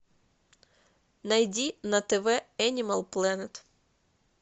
найди на тв энимал плэнет